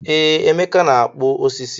Ee, Emeka na-akpụ osisi.